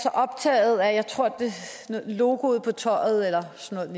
så optaget af jeg tror det var logoet på tøjet eller sådan